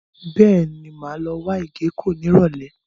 Bẹ́ẹ̀ni, mo máa wá ìgéko ní Ìrọ̀lẹ́.